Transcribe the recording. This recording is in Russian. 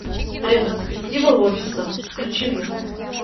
ретроспектива офиса включи мне